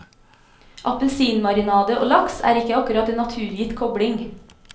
Appelsinmarinade og laks er ikke akkurat en naturgitt kobling.